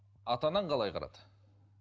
ата анаң қалай қарады